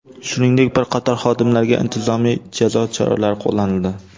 Shuningdek, bir qator xodimlarga intizomiy jazo choralari qo‘llanildi.